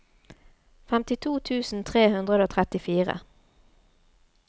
femtito tusen tre hundre og trettifire